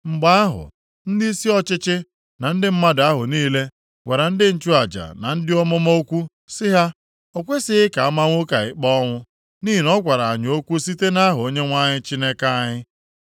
Mgbe ahụ, ndịisi ọchịchị na ndị mmadụ ahụ niile gwara ndị nchụaja na ndị amụma okwu sị ha, “O kwesighị ka a maa nwoke a ikpe ọnwụ nʼihi na ọ gwara anyị okwu site nʼaha Onyenwe anyị Chineke anyị.”